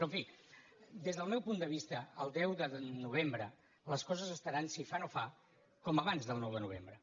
però en fi des del meu punt de vista el deu de novembre les coses estaran si fa no fa com abans del nou de novembre